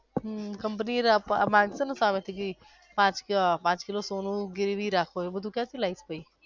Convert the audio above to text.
હમ company મા માગશે ને સામેથી કે પાંચ પાંચ કિલો સોનું ગીરવી રાખો એવું બધું ક્યાંથી લાવીશ પછી